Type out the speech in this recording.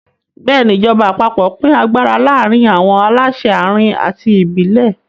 Bẹ́ẹ̀ni, ìjọba àpapọ̀ pín agbára láàárín àwọn aláṣẹ àárín àti ìbílẹ̀.